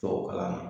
Tubabukalan na